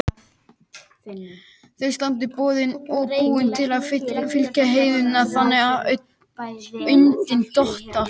Þau standa boðin og búin til að fylla í eyðurnar, þegar andinn dottar.